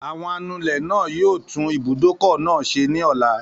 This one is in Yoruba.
Àwọn anulẹ̀ náà yóò tún ibùdókọ̀ náà ṣe ní ọ̀la